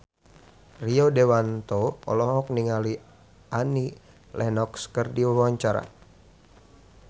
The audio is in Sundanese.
Rio Dewanto olohok ningali Annie Lenox keur diwawancara